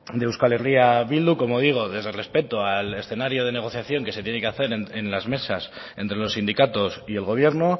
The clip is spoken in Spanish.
de euskal herria bildu como digo desde el respeto al escenario de negociación que se tiene que hacer en las mesas entre los sindicatos y el gobierno